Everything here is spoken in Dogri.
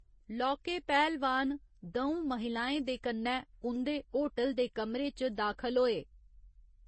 लौह्के पैह्‌लवान द'ऊं महिलाएं दे कन्नै उं'दे होटल दे कमरे च दाखल होए।